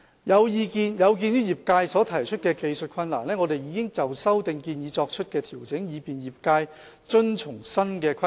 有鑒於業界所提出的技術困難，我們已就修訂建議作出調整，以便業界遵從新的規定。